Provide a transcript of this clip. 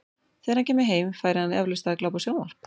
Þegar hann kæmi heim, færi hann eflaust að glápa á sjónvarp.